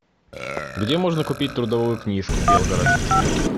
где можно купить трудовую книжку белгород